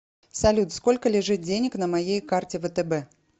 салют сколько лежит денег на моей карте втб